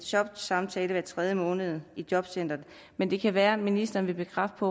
jobsamtale hver tredje måned i et jobcenter men det kan være at ministeren vil bekræfte